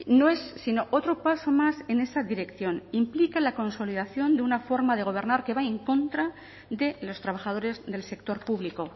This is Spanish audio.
no es sino otro paso más en esa dirección implica la consolidación de una forma de gobernar que va en contra de los trabajadores del sector público